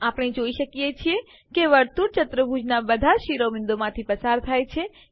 આપણે જોઈએ છીએ કે વર્તુળ ચતુર્ભુજનાં બધાજ શિરોબિંદુઓમાંથી પસાર થાય છે